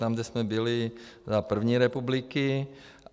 Tam, kde jsme byli za první republiky.